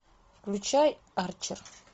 включай арчер